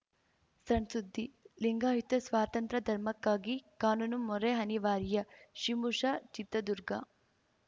ಸಣ್‌ಸುದ್ದಿ ಲಿಂಗಾಯುತ ಸ್ವತಂತ್ರಧರ್ಮಕ್ಕಾಗಿ ಕಾನೂನು ಮೊರೆ ಅನಿವಾರ್ಯ ಶಿಮುಶ ಚಿತ್ರದುರ್ಗ